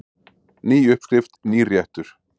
Ný uppskrift, nýr réttur.